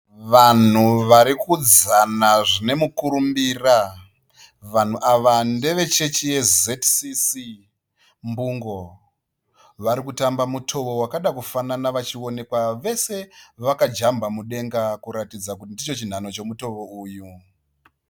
Vanhu vari kudzana zvine mukurumbira. Vanhu ava ndeve chechi ye ZCC Mbungo. Vari kutamba mutoo wakada kufanana vachionekwa vese vakajamba mudenga kuratidza kuti ndicho chinhanho chomutoo uyu.